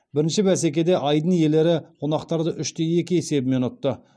бірінші бәсекеде айдын иелері қонақтарды үш те екі есебімен ұтты